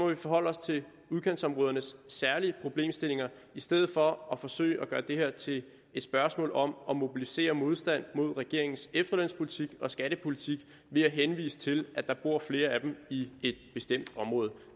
vi forholde os til udkantsområdernes særlige problemstillinger i stedet for at forsøge at gøre det her til et spørgsmål om at mobilisere modstand mod regeringens efterlønspolitik og skattepolitik ved at henvise til at der bor flere af dem i et bestemt område